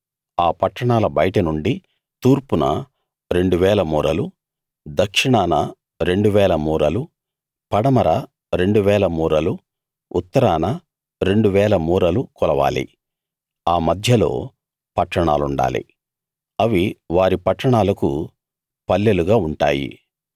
ఆ పట్టణాల బయట నుండి తూర్పున రెండు వేల మూరలు దక్షిణాన రెండు వేల మూరలు పడమర రెండు వేల మూరలు ఉత్తరాన రెండు వేల మూరలు కొలవాలి ఆ మధ్యలో పట్టణాలుండాలి అవి వారి పట్టణాలకు పల్లెలుగా ఉంటాయి